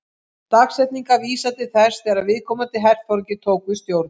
Dagsetningarnar vísa til þess þegar viðkomandi herforingi tók við stjórn.